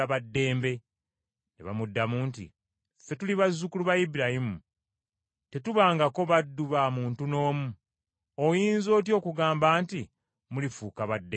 Ne bamuddamu nti, “Ffe tuli bazzukulu ba Ibulayimu, tetubangako baddu ba muntu n’omu. Oyinza otya okugamba nti, ‘Mulifuuka ba ddembe?’ ”